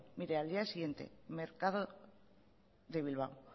mire al día siguiente mercado de bilbao